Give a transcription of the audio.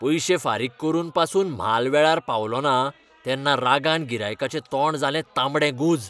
पयशे फारीक करून पासून म्हाल वेळार पावलो ना तेन्ना रागान गिरायकांचें तोंड जालें तांबडेंगुंज.